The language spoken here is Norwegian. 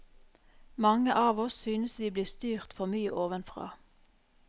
Mange av oss synes vi blir styrt for mye ovenfra.